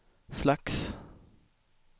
slags